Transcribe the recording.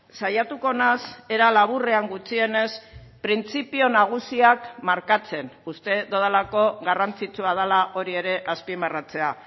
saiatuko naiz era laburrean gutxienez printzipio nagusiak markatzen uste dudalako garrantzitsua dela hori ere azpimarratzea